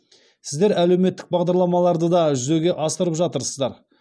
сіздер әлеуметтік бағдарламаларды да жүзеге асырып жатырсыздар